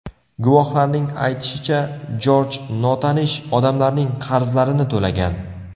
Guvohlarning aytishicha, Jorj notanish odamlarning qarzlarini to‘lagan.